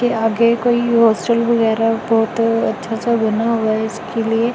यहां के कोई हॉस्टल वगैरह बहुत अच्छा सा बना हुआ हैइसके लिए--